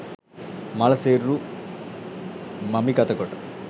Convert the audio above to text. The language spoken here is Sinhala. මළ සිරුරු මමිගත කොට